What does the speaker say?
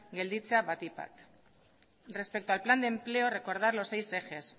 gelditzea batipat respeto al plan de empleo recordar los seis ejes